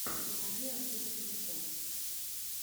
заводи артура сенко